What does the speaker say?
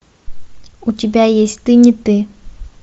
у тебя есть ты не ты